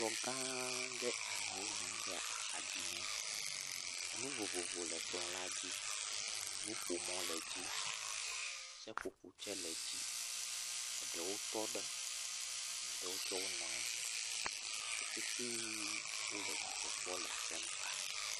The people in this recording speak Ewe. Kplɔ gã aɖe amewo nɔ anyi ɖe axa dzi na, enu vovovo le kplɔ la dzi, nuƒomɔ le dzi, seƒoƒo tse le dzi, eɖewo tɔ ɖe, eɖewo tse wonɔ anyi, wo petee wole dzidzɔ kpɔm le asem ka.